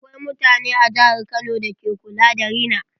Akwai mutane a jihar kano da ke ƙulla da rina.